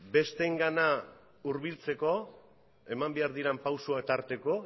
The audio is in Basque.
besteengana hurbiltzeko eman behar diren pausoak tarteko